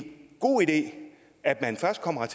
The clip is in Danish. god idé at man først kommer